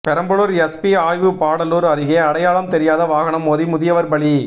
Perambalur SP ஆய்வு பாடாலூர் அருகே அடையாளம் தெரியாத வாகனம் மோதி முதியவர் பலி